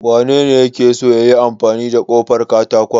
Wanene yake so yayi ƙofar katakon?